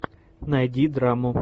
найди драму